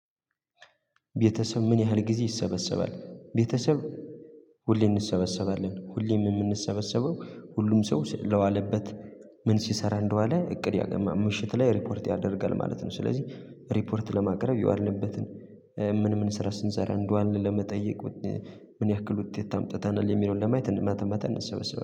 ቤተሰብ ምን ያህል ጊዜ ይሰበሰባ? ቤተሰብ ሁሌ እንሰበሰባለን ሁሌ የምንሰበሰበው ሁሉም ሰው ስለዋለበት ምን ሲሰራ እንደዋለ እቅድ ያቀርባል ምሽት ላይ ሪፖርት ያደርጋል ማለት ነው። ስለዚህ ሪፖርት ለማቅረብ የዋልንበትን ምን ምን ስራ ስንሰራ እንደዋልን ለመጠየቅ ምን ያክል ውጤት አምጥተናል የሚለውን ለማየት ማታ ማታ እንሰበሰባለን።